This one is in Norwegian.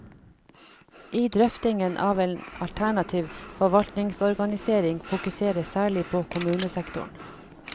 I drøftingen av en alternativ forvaltningsorganisering fokuseres særlig på kommunesektoren.